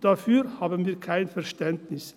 Dafür haben wir kein Verständnis;